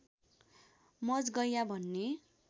मजगैयाँ भन्ने